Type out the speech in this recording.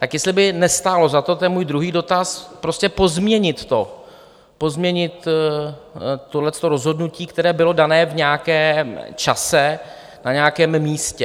Tak jestli by nestálo za to - to je můj druhý dotaz - prostě pozměnit to, pozměnit tohle rozhodnutí, které bylo dané v nějakém čase na nějakém místě.